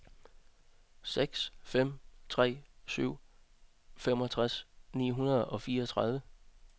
seks fem tre syv femogtres ni hundrede og fireogtredive